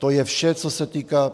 To je vše, co se týká...